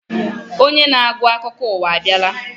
Onye na-agụ akụkọ ụwa abịala.